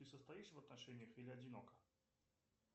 ты состоишь в отношениях или одинока